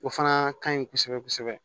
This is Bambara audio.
O fana ka ɲi kosɛbɛ kosɛbɛ